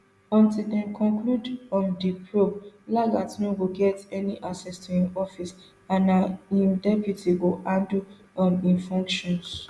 until dem conclude um di probe lagat no go get any access to im office and na im deputy go handle um im functions